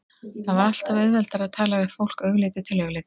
Það var alltaf auðveldara að tala við fólk augliti til auglitis.